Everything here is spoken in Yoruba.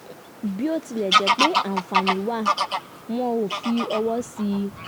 bí ó tilẹ̀ jẹ́ pé àǹfààní wà wọ́n ò fi ọwọ́ sí i